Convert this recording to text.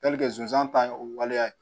zonzan ta ye o waleya ye